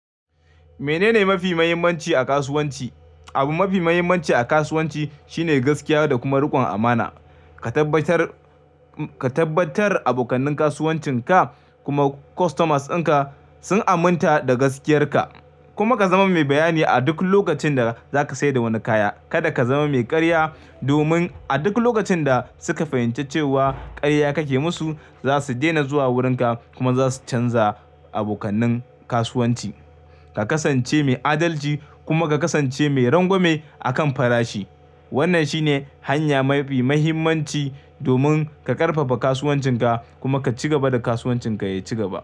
Menene mafi muhimmanci a kasuwanci? Abu mafi muhimmanci a kasuwanci shine gaskiya da kuma rikon amana. Ka tabbatar, ka tabbatar abokannin kasuwancin ka kuma customers ɗin ka sun aminta da gaskiyar ka kuma ka zama mai bayani a duk lokacin da za ka sayar da wani kaya. Kada ka zama mai karya domin a duk lokacin da suka fahimci cewa karya kake musu, za su daina zuwa wurin ka kuma za su canza abokanin kasuwanci. Ka kasance mai adalci kuma ka kasance mai rangwame a kan farashi. Wannan shine hanya mafi muhimmanci domin ka karfafa kasuwancin ka kuma ka ci gaba da kasuwancin ka ya ci gaba.